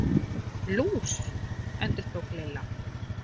Nú, lús. endurtók Lilla.